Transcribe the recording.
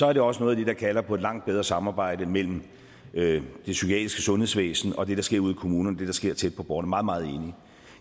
er det også noget af det der kalder på et langt bedre samarbejde mellem det psykiatriske sundhedsvæsen og det der sker ude i kommunerne det der sker tæt på borgerne meget meget enig